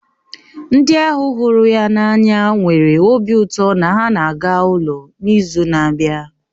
Ndị ahu hụrụ ya n'anya nwere obi ụtọ na ha na-aga ụlọ n'izu na-abịa